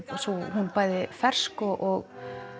hún bæði fersk og